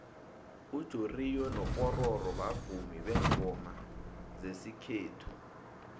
ujoriyo nopororo bavumi bengoma zesikhethu